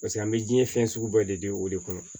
Paseke an bɛ diɲɛ fɛn sugu bɛɛ de di o de kɔnɔ